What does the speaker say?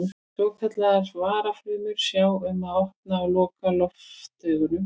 Svokallaðar varafrumur sjá um að opna og loka loftaugunum.